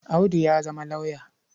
Audu ya zama lauyer.